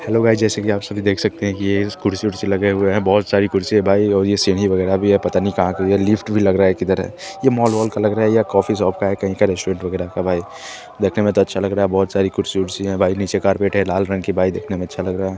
Hello guys जैसे आप सब देख सकते हैं कि ये कुर्सी कुर्सी लगे हुए हैं। बहुत सारी कुर्सी है भाई और यह सीडी वगैरा भी है पता नहीं ये कहा का है? ये लिफ्ट भी लग रहा है किधर है? ये मॉल ओल का लग रहा है या कॉफी शॉप का है। कहीं का रेस्टोरेंट वगैरह का है। देखने में तो अच्छा लग रहा है। बहुत सारी कुर्सी कुर्सियां है। भाई नीचे कारपेट है लाल रंग का बाइक देखने में अच्छा लग रहा है।